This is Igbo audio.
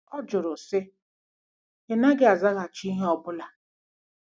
Ọ jụrụ, sị, “Ị̀ naghị azaghachi ihe ọ bụla.